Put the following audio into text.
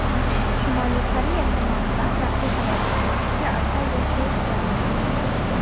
Shimoliy Koreya tomonidan raketalar uchirilishiga aslo yo‘l qo‘yib bo‘lmaydi.